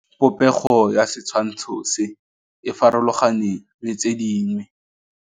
Popêgo ya setshwantshô se, e farologane le tse dingwe.